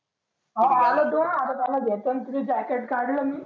हा आला तो आता त्याला घेतो तुझं जॅकेट काढलं मी